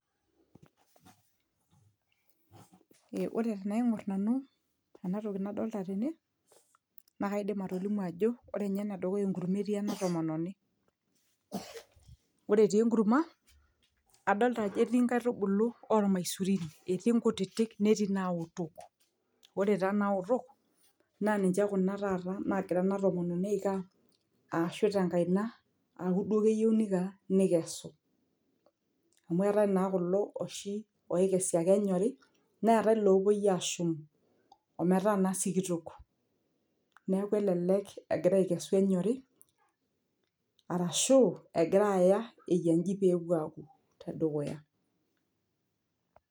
Eh ore tenaing'orr nanu enatoki nadolta tene naa kaidim atolimu ajo ore inye enedukuya enkurma etii ena tomononi ore etii enkurma adolta ajo etii inkaitubulu ormaisurin etii nkutitik netii naotok ore taa naotok naa ninche kuna taata nagira ena tomononi aiko aa ashu tenkaina aaku keyieu duo niko aa nikesu amu etae naa oshi kulo oikesi ake enyori neetae ilopuoi ashum ometaa naa sikitok neeku elelek egira aikesu enyori arashu egira aya eyia inji peyie epuo aaku tedukuya.